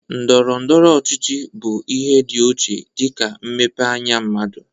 Ndọrọndọrọ ọchịchị bụ ihe dị ochie dịka mmepe anya mmadụ.